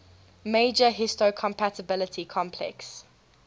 major histocompatibility complex